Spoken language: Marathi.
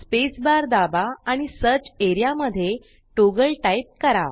स्पेस बार दाबा आणि सर्च एरिया मध्ये टॉगल टाइप करा